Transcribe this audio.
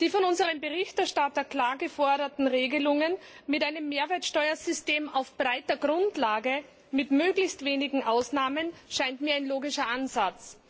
Die von unserem Berichterstatter klar geforderten Regelungen mit einem Mehrwertsteuersystem auf breiter Grundlage mit möglichst wenigen Ausnahmen scheint mir ein logischer Ansatz.